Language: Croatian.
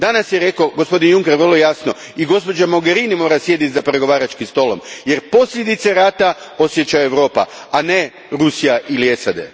Danas je rekao gospodin Juncker, vrlo jasno, da i gospođa Mogherini mora sjediti za pregovaračkim stolom, jer posljedice rata osjeća Europa, a ne Rusija ili SAD.